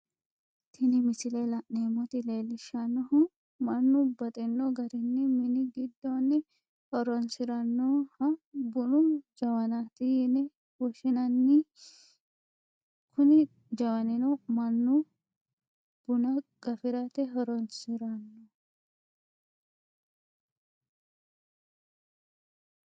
Tini misile la'neemoti leellishanohu manu baxino garini mini gidoonni horonsiranoha bunu jawanati yine woshinnanni, kuni jawannino manu bunna gafirate horonisiranno